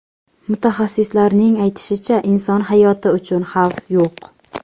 Mutaxassislarning aytishicha, inson hayoti uchun xavf yo‘q.